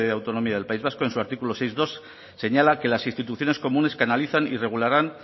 autonomía del país vasco en su artículo seis punto dos señala que las instituciones comunes canalizan y regularán